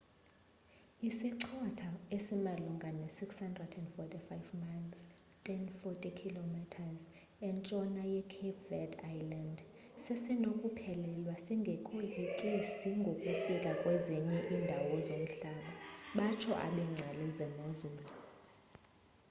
isichotho esimalunga ne 645 miles 1040 km e entshona ye-cape verde islands sesenokuphelelwa singekoyikisi ngokufika kwezinye indawo zomhlaba batsho abengcali zemozulu